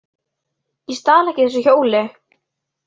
Ég stal ekki þessu hjóli!